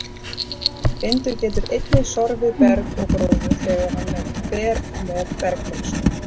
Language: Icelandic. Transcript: Vindur getur einnig sorfið berg eða gróður þegar hann ber með bergmylsnu.